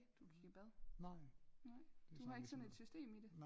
Du gik i bad nej du har ikke sådan et system i det?